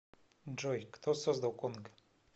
джой кто создал конг